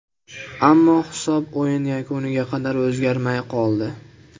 Ammo hisob o‘yin yakuniga qadar o‘zgarmay qoldi.